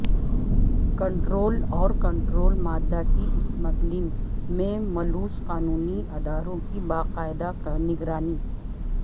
control اور control مادہ کی اسمگلنگ میں ملوث قانونی اداروں کی باقاعدہ نگرانی